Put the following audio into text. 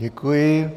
Děkuji.